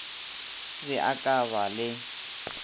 be a ka ba le